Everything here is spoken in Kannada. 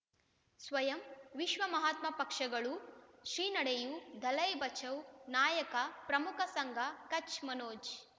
ಸ್ವಯಂ ವಿಶ್ವ ಮಹಾತ್ಮ ಪಕ್ಷಗಳು ಶ್ರೀ ನಡೆಯೂ ದಲೈ ಬಚೌ ನಾಯಕ ಪ್ರಮುಖ ಸಂಘ ಕಚ್ ಮನೋಜ್